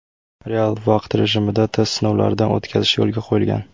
Real vaqt rejimida test sinovlaridan o‘tkazish yo‘lga qo‘yilgan.